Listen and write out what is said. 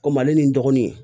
Komi ale ni n dɔgɔninw